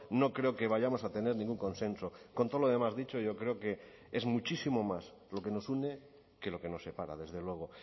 no creo que vayamos a tener ningún consenso con todo lo demás dicho yo creo que es muchísimo más lo que nos une que lo que nos separa desde luego